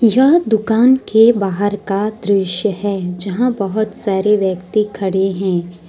यह दुकान के बाहर का दृश्य है जहाँ बहुत सारे व्यक्ति खड़े हैं।